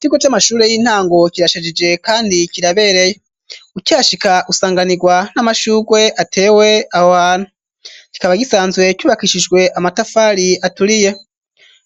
Ikiko c'amashure y'intango kirashajije, kandi kirabereye ucihashika usanganirwa n'amashugwe atewe ahohantu kikaba gisanzwe cubakishijwe amatafari aturiye,